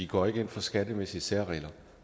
går ind for skattemæssige særregler